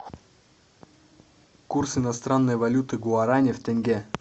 курс иностранной валюты гуарани в тенге